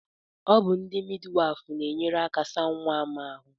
Ọ bụ ndị midwafu nyere m aka saa nwa m ahụ